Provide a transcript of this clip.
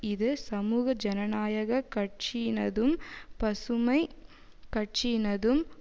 இது சமூக ஜனநாயக கட்சியினதும் பசுமை கட்சியினதும்